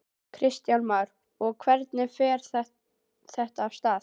Kristján Már: Og hvernig fer þetta af stað?